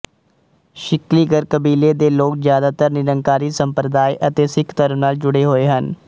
ਸਿਕਲੀਗਰ ਕਬੀਲੇ ਦੇ ਲੋਕ ਜ਼ਿਆਦਾਤਰ ਨਿਰੰਕਾਰੀ ਸੰਪਰਦਾਇ ਅਤੇ ਸਿੱਖ ਧਰਮ ਨਾਲ ਜੁੜੇ ਹੋਏ ਹਨ